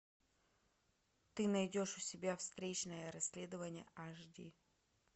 ты найдешь у себя встречное расследование аш ди